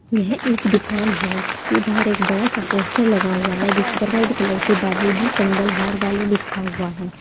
यह एक दुकान है जिसके बाहर एक बड़ा सा पोस्टर लगा हुआ है जिस पर रेड कलर से बाबूजी संगल हार वाले लिखा हुआ है।